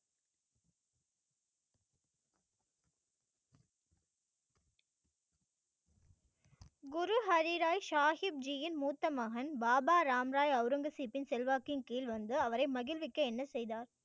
குரு ஹரிராய் சாஹிப்ஜியின் மூத்த மகன் பாபா ராம்ராய் அவுரங்கசீப்பின் செல்வாக்கின் கீழ் வந்து அவரை மகிழ்விக்க என்ன செய்தார்